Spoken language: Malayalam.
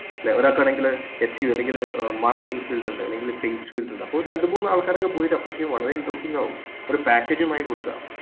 ല്ലേ ഒരാൾക്കാണെങ്കിൽ അല്ലെങ്കിൽ ഏർ marketing field ഇൻഡ് അല്ലെങ്കിൽ sales field ഇണ്ട് അപ്പൊ ഒരു രണ്ട്മൂന്ന് ആൾക്കാരൊക്കെ പോയി approach ചെയ്താ വളരെ interesting ആകും ഒരു package മായി കൊടുക്കാം